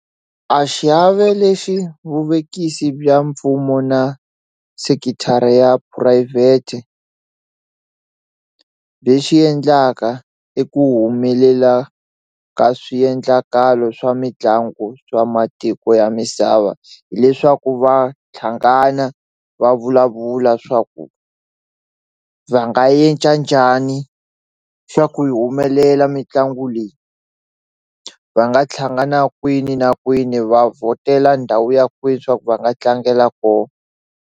A xiave lexi vuvekisi bya mpfumo na sekithara ya phurayivhete byi xi endlaka i ku humelela ka swiendlakalo swa mitlangu swa matiko ya misava hileswaku va hlangana va vulavula swa ku va nga njhani swa ku yi humelela mitlangu leyi va nga thlanga na kwini na kwini va vhotela ndhawu ya kwini swa ku va nga tlangela ko.